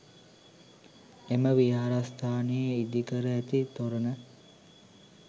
එම විහාරස්ථානයේ ඉදිකර ඇති තොරණ